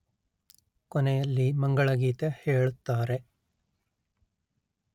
ಕೊನೆಯಲ್ಲಿ ಮಂಗಳಗೀತೆ ಹೇಳುತ್ತಾರೆ